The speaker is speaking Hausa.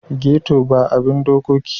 Geto ba a bin dokoki sosai.